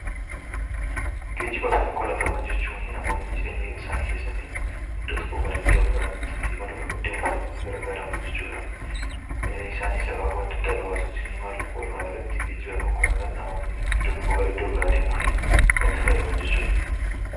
Geejjibaafi konkolaataawwan jechuun namoonni jireenya isaanii keessatti iddoo tokkoo gara iddoo biraatti imaluudhaaf yookaan deemuuf kan itti gargaaraman jechuudha. Isaanis akaakuu adda addaa qabaatuuti ni malu walumaa galatti geejjibaaf konkolaataan namoonni iddoo tokkoo gara iddoo biraa deemuufi kan itti fayyadaman jechuudha.